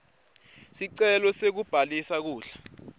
sicelo sekubhalisa kudla